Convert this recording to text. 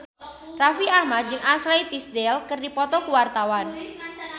Raffi Ahmad jeung Ashley Tisdale keur dipoto ku wartawan